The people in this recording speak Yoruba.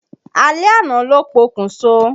Alẹ́ àná ló pokùn so.